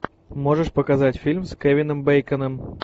можешь показать фильм с кевином бейконом